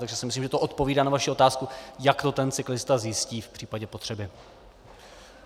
Takže si myslím, že to odpovídá na vaši otázku, jak to ten cyklista zjistí v případě potřeby.